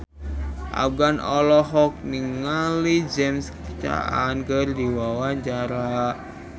Afgan olohok ningali James Caan keur diwawancara